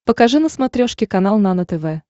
покажи на смотрешке канал нано тв